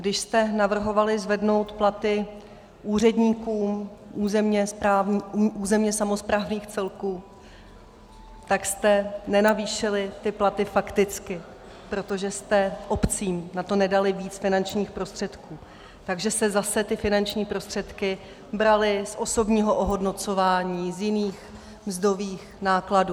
Když jste navrhovali zvednout platy úředníkům územně samosprávných celků, tak jste nenavýšili ty platy fakticky, protože jste obcím na to nedali víc finančních prostředků, takže se zase ty finanční prostředky braly z osobního ohodnocování, z jiných mzdových nákladů.